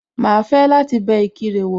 Màá fẹ́ láti bẹ Ìkirè wò